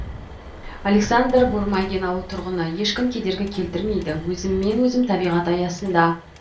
александр бурмагин ауыл тұрғыны ешкім кедергі келтірмейді өзіммен өзім табиғат аясында